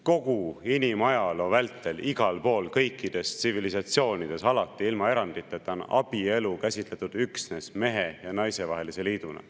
Kogu inimajaloo vältel, igal pool, kõikides tsivilisatsioonides, alati, ilma eranditeta on abielu käsitletud üksnes mehe ja naise vahelise liiduna.